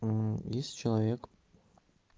если человек